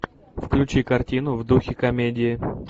включи картину в духе комедии